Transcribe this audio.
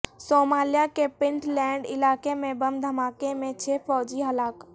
Somalia کے Puntland علاقے میں بم دھماکہ میں چھ فوجی ہلاک